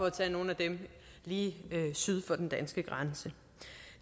at tage nogle lige syd for den danske grænse